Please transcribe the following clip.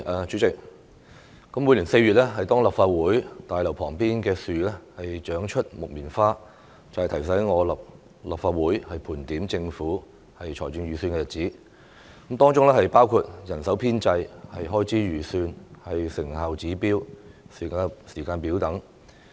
主席，每年4月立法會大樓旁邊的樹長出木棉花，便提醒我立法會到了盤點政府財政預算的日子，當中包括人手編制、開支預算、成效指標和時間表等。